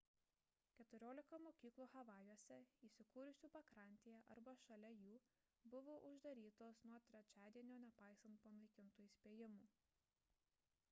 keturiolika mokyklų havajuose įsikūrusių pakrantėje arba šalia jų buvo uždarytos nuo trečiadienio nepaisant panaikintų įspėjimų